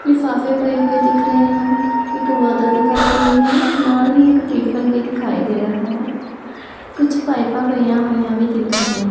ਲਿਫਾਫੇ ਪਏ ਹੋਏ ਦਿਖ ਰਹੇ ਹਨ ਇੱਕ ਬੋਤਲ ਦਿਖਾਈ ਦੇ ਰਹੀ ਹੈ ਨਾਲ ਹੀ ਇੱਕ ਟਿਫਨ ਵੀ ਦਿਖਾਈ ਦੇ ਰਿਹਾ ਹੈ ਕੁਝ ਪਾਈਪਾਂ ਪਈਆਂ ਹੋਈਆਂ ਵੀ ਦਿਖ ਰਹੀ ਆ।